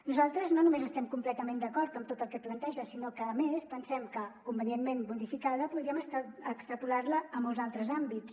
nosaltres no només estem completament d’acord en tot el que planteja sinó que a més pen·sem que convenientment modificada podríem extrapolar·la a molts altres àmbits